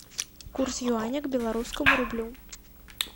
курс юаня к белорусскому рублю